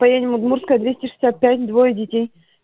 поедем удмуртская двести шестьдесят пять двое детей